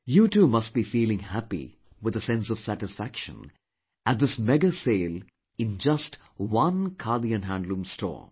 You too must be feeling happy with a sense of satisfaction at this mega sale in just one Khadi & Handloom store